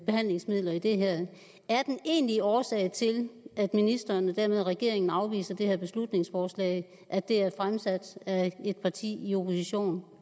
behandlingsmidler i det her er den egentlige årsag til at ministeren og dermed regeringen afviser det her beslutningsforslag at det er fremsat af et parti i opposition og